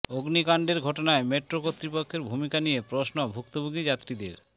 অগ্নিকাণ্ডের ঘটনায় মেট্রো কর্তৃপক্ষের ভূমিকা নিয়ে প্রশ্ন ভুক্তভোগী যাত্রীদের